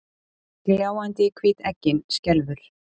Gljáandi hvít eggin skelfur.